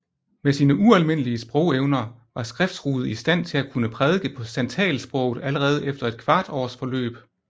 Med sine ualmindelige sprogevner var Skrefsrud i stand til at kunne prædike på santalsproget allerede efter et kvart års forløb